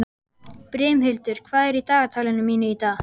Brimhildur, hvað er í dagatalinu mínu í dag?